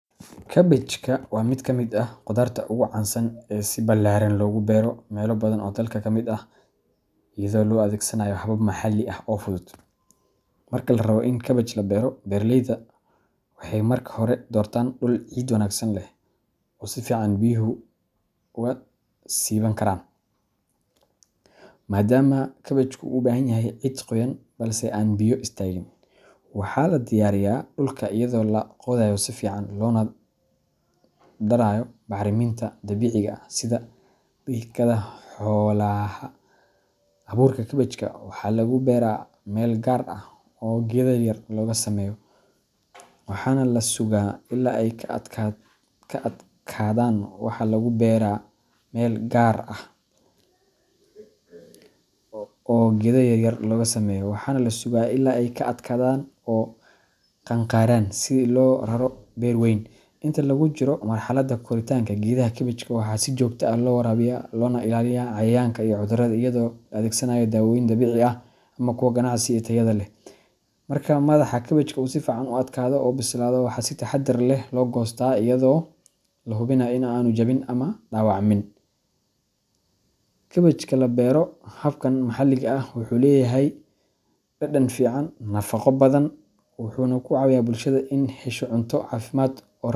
Kabaajka waa mid ka mid ah khudaarta ugu caansan ee si ballaaran loogu beero meelo badan oo dalka ka mid ah, iyadoo loo adeegsanayo habab maxalli ah oo fudud. Marka la rabo in kabaaj la beero, beeraleyda waxay marka hore doortaan dhul ciid wanaagsan leh oo si fiican biyuhu uga siiban karaan, maadaama kabaajku u baahan yahay ciid qoyan balse aan biyo istaagin. Waxa la diyaariyaa dhulka iyadoo la qodayo si fiican loona darayo bacriminta dabiiciga ah sida digada xoolaha. Abuurka kabaajka waxa lagu beeraa meel gaar ah oo geedo yaryar looga sameeyo, waxaana la sugaa ilaa ay ka adkaadaan oo qaangaraan si loogu raro beer weyn. Inta lagu jiro marxaladda koritaanka, geedaha kabaajka waxaa si joogto ah loo waraabiyaa, loogana ilaaliyaa cayayaanka iyo cudurrada iyadoo la adeegsanayo dawooyin dabiici ah ama kuwa ganacsi ee tayada leh. Marka madaxa kabaajka uu si fiican u adkaado oo u bislaado, waxa si taxaddar leh loo goostaa iyadoo la hubinayo in aanu jabin ama dhaawacmin. Kabaajka la beero habkan maxalliga ah wuxuu leeyahay dhadhan fiican, nafaqo badan, iyo wuxuna kucawiya bulshada iney hesho cunto cafimad.